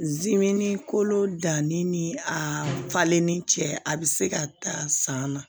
kolo danni ni a falenni cɛ a be se ka taa san na